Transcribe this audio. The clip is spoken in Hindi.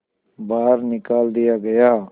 बाहर निकाल दिया गया